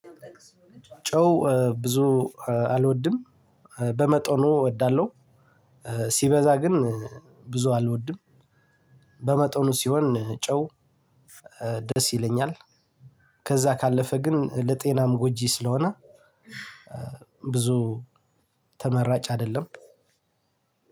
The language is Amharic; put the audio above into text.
ጨው ብዙ አልወድም በመጠኑ እወዳለሁ። ሲበዛ ግን ብዙ አልወድም። በመጠኑ ሲሆን ጨው ደስ ይለኛል። ከዛ ካለፈ ግን ለጤናም ጎጂ ስለሆነ። ብዙ ተመራጭ አይደለም።